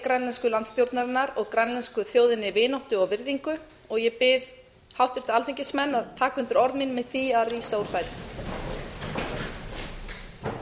grænlensku landsstjórnarinnar og grænlensku þjóðinni vináttu og virðingu ég bið háttvirta alþingismenn að taka undir orð mín með því að rísa úr sætum